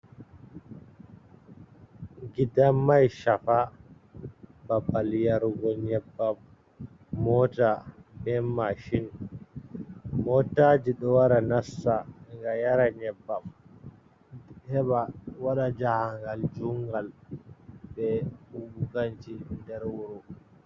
Gidan mai shafa babal yarugo nyebbam mota be mashin. Motaji ɗo wara nassa ngam yara nyebbam heɓa waɗa jahangal jungal be huɓu ganci nder wuro.